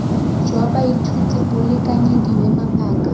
jwa baithuti bo lekanyediwe mabaka